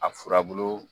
A furabulu